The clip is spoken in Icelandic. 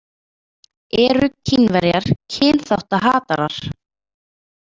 „Eru Kínverjar kynþáttahatarar?“